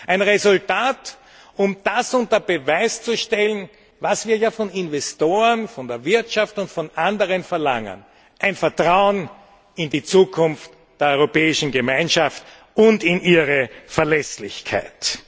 Ein Resultat, um das unter Beweis zu stellen, was wir von Investoren, von der Wirtschaft und von anderen verlangen ein Vertrauen in die Zukunft der Europäischen Gemeinschaft und in ihre Verlässlichkeit.